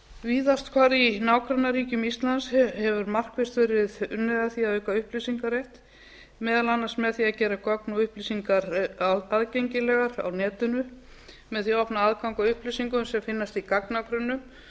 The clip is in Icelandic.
víðast hvar í nágrannaríkjum íslands hefur markvisst verið unnið að því að auka upplýsingarrétt meðal annars með því að gera gögn og upplýsingar aðgengilegar á netinu með því að opna aðgang að upplýsingum sem finnast í gagnagrunnum